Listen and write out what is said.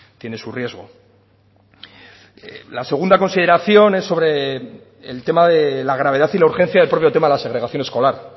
tiene su riesgo la segunda consideración es sobre el tema de la gravedad y la urgencia del propio tema de la segregación escolar